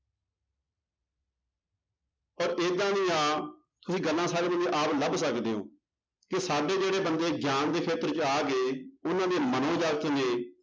ਤਾਂ ਏਦਾਂ ਦੀਆਂ ਤੁਸੀਂ ਗੱਲਾਂ ਸਾਰੇ ਜਾਣੇ ਆਪ ਲੱਭ ਸਕਦੇ ਹੋ ਕਿ ਸਾਡੇ ਜਿਹੜੇ ਬੰਦ ਗਿਆਨ ਦੇ ਖੇਤਰ ਚ ਆ ਗਏ ਉਹਨਾਂ ਦੇ ਮਨੋ ਜਗਤ ਨੇ